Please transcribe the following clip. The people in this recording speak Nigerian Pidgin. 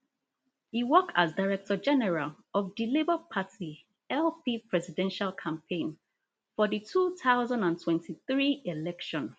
e work as directorgeneral of di labour party lp presidential campaign for di two thousand and twenty-three election